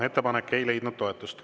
Ettepanek ei leidnud toetust.